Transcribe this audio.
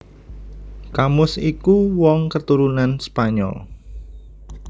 Camus iku wong katurunan Spanyol